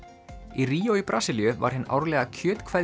í Ríó í Brasilíu var hin árlega